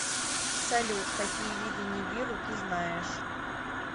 салют какие виды нибиру ты знаешь